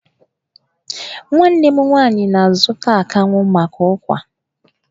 Nwanne m nwaanyị na-azụta akanwụ maka ụ́kwà.